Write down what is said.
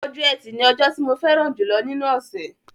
Ọjọ́ ẹtì ni ọjọ́ tí mo fẹ́ràn jùlọ nínú ọ̀ṣẹ̀